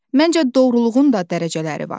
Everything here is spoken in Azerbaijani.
Məncə, doğruluğun da dərəcələri var.